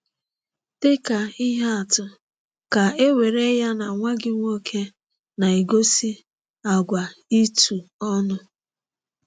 Dị ka ihe atụ, ka e were ya na nwa gị nwoke na-egosi àgwà itu ọnụ.